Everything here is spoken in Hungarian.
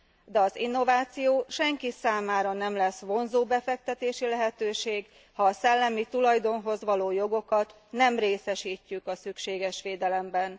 De az innováció senki számára nem lesz vonzó befektetési lehetőség, ha a szellemi tulajdonhoz való jogokat nem részesítjük a szükséges védelemben.